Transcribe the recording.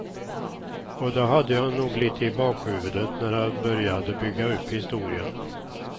Och det hade jag nog lite i bakhuvudet när jag började bygga upp historien.